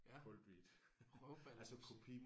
Ja. Røvballemusik